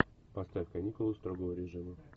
поставь каникулы строгого режима